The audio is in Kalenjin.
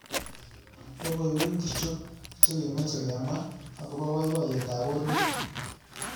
Logoywek ngircho chegemeche kemwa agoba boiboyetab borwek